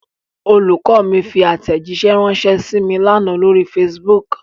Olùkọ́ mi fi àtẹ̀jíṣẹ̀ ránṣẹ́ sí mí l'ánà lórí Facebook.